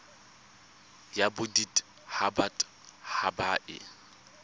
ya bodit habat haba e